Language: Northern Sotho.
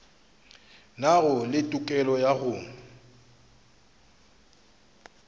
nago le tokelo ya go